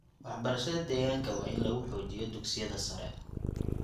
Waxbarashada deegaanka waa in lagu xoojiyo dugsiyada sare.